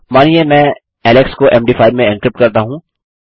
मानिए मैं एलेक्स को मद5 में एन्क्रिप्ट करता हूँ